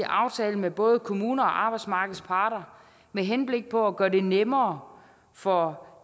aftale med både kommuner og arbejdsmarkedets parter med henblik på at gøre det nemmere for